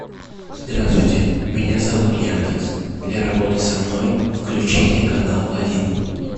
здравствуйте меня зовут яндекс для работы со мной включите канал один